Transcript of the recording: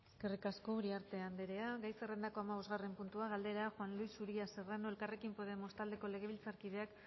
eskerrik asko uriarte anderea gai zerrendako hamabosgarren puntua galdera juan luis uria serrano elkarrekin podemos taldeko legebiltzarkideak